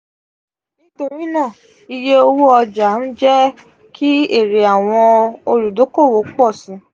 nitorinaa iye owo oja n je ki ere awon oludokoowo po si.